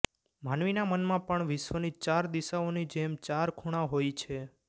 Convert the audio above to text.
માનવીના મનમાં પણ વિશ્વની ચાર દિશાઓની જેમ ચાર ખૂણા હોય છે